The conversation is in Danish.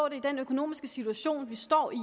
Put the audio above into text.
i den økonomiske situation vi står i